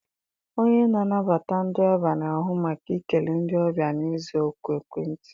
Onye na-anabata ndị ọbịa na-ahụ maka ikele ndị ọbịa na ịza oku ekwentị.